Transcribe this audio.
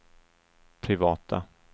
privata